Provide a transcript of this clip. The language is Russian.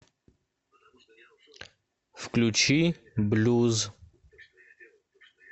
включи блюз